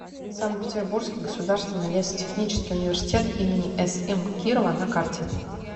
санкт петербургский государственный лесотехнический университет им см кирова на карте